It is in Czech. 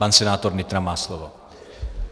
Pan senátor Nytra má slovo.